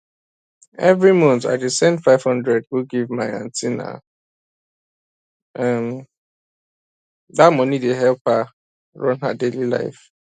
every month i dey send 500 go give my aunty na um that money dey help her run her daily life